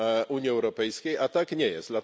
Unii Europejskiej, a tak nie jest.